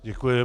Děkuji.